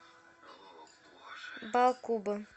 баакуба